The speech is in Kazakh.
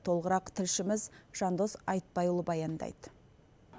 толығырақ тілшіміз жандос айтбайұлы баяндайды